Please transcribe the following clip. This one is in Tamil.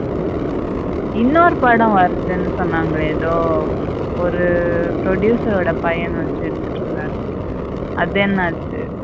இன்னொரு படம் வருதுன்னு சொன்னாங்களே எதோ ஒரு producer ஓட பையன வச்சி எடுத்துட்டு இருந்தாரு அது என்ன ஆச்சு.